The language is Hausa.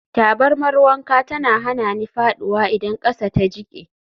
Tabarmar wanka tana hana ni faɗuwa idan ƙasa ta jike.